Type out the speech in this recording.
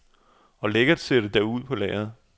Og lækkert ser det da ud på lærredet.